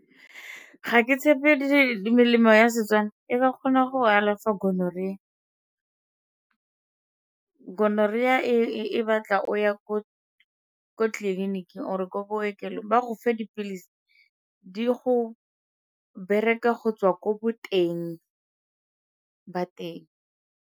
Ga ke tshepe melemo ya Setswana e ka kgona go alafa gonorrhea. Gonorrhea e batla o ya ko tleliniking or-e ko bookelong ba go fe dipilisi di go bereke go tswa ko boteng ba teng.